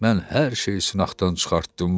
Mən hər şeyi sınaqdan çıxartdım.